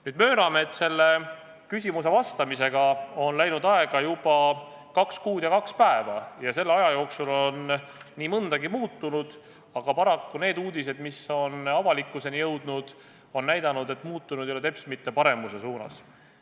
Nüüd, mööname, et nendele küsimustele vastamisega on läinud aega juba 2 kuud ja 2 päeva ning selle aja jooksul on nii mõndagi muutunud, aga paraku need uudised, mis on avalikkuseni jõudnud, on näidanud, et muutused ei ole toimunud teps mitte paremuse suunas.